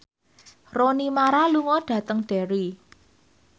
Rooney Mara lunga dhateng Derry